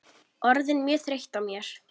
Orðin mjög þreytt á mér.